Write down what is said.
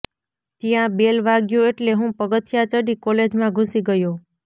ત્યાં બેલ વાગ્યો એટલે હું પગથિયાં ચડી કોલેજમાં ઘુસી ગયો